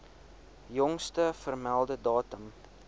jongste vermelde datum